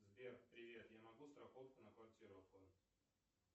сбер привет я могу страховку на квартиру оформить